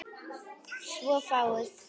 Svo fáguð.